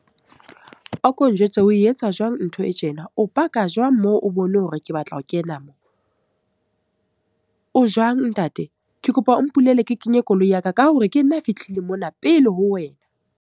A ko njwetse o etsa jwang ntho e tjena? O park-a jwang moo, o bone hore ke batla ho kena mo? O jwang ntate? Ke kopa o mpulele ke kenye koloi ya ka, ka hore ke nna a fihlile mona pele ho wena.